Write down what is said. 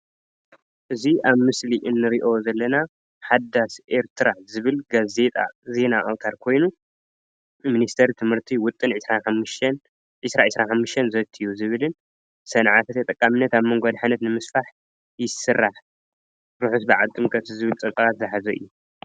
እዚ ኣብ ምስሊ እንርኦ ዘለና ሓዳስ ኤርትራ ዝብል ጋዜጣ ዜና ኣውተር ኮይኑ ብሚኒስትሪ ትምህርቲ ውጥን 2025 ዘትዩ ዝብልን ሰንዓ ተጠቃመነት አብ መንጎ ኣድሓነት ይስራሕ ርሑስ ባዓል ጥምቀት ዝብል ፀብፃባት ዝሓዘ እዩ።